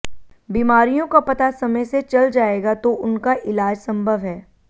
बीमारियों का पता समय से चल जाएगा तो उनका इलाज संभव है